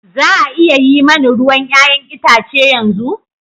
Za a iya yi mani ruwan 'ya'yan itace yanzu?